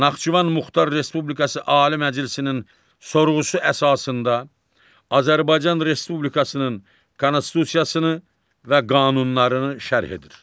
Naxçıvan Muxtar Respublikası Ali Məhkəməsinin sorğusu əsasında Azərbaycan Respublikasının Konstitusiyasını və qanunlarını şərh edir.